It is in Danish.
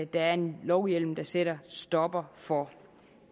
der er en lovhjemmel der sætter en stopper for